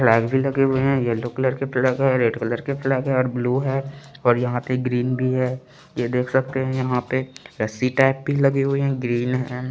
लगे हुए है येलो कलर के फ्लैग है रेड कलर के फ्लैग है और ब्लू है यहाँ पे ग्रीन भी है ये देख सकते है यहाँ पे रस्सी टाइप भी लगे हुए है ग्रीन हैं --